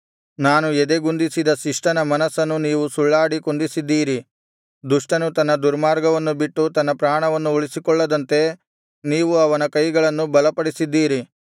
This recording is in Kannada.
ನಾನು ಎದೆಗುಂದಿಸದ ಶಿಷ್ಟನ ಮನಸ್ಸನ್ನು ನೀವು ಸುಳ್ಳಾಡಿ ಕುಂದಿಸಿದ್ದೀರಿ ದುಷ್ಟನು ತನ್ನ ದುರ್ಮಾರ್ಗವನ್ನು ಬಿಟ್ಟು ತನ್ನ ಪ್ರಾಣವನ್ನು ಉಳಿಸಿಕೊಳ್ಳದಂತೆ ನೀವು ಅವನ ಕೈಗಳನ್ನು ಬಲಪಡಿಸಿದ್ದೀರಿ